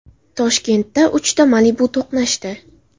Toshkentda uchta Malibu to‘qnashdi.